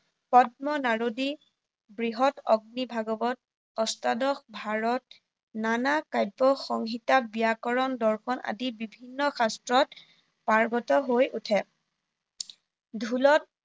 পদ্ম, নাৰদী, বৃহত, অগ্নি, ভাগৱত অষ্টাদশ ভাৰত, নানা কাব্য, সংহিতা, ব্যাকৰণ, দৰ্শন আদি বিভিন্ন শাস্ত্ৰত পাৰ্গত হৈ উঠে। টোলত